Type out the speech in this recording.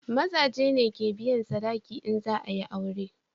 Maza ne ke biyan sadaki in za a yi aure